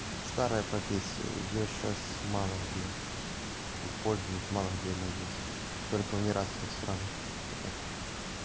старая профессия её сейчас мало где используют мало где она есть только в неразвитых странах вот так